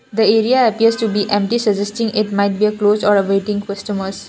the area appears to be empty suggesting it might be closed are a waiting customers.